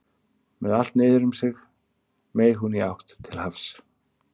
Með allt niður um sig meig hún í átt til hafs.